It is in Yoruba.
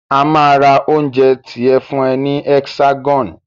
A máa ra oúnjẹ tiẹ fún ẹ ní Hexagon.